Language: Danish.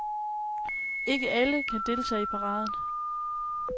Ikke alle kan deltage i paraden.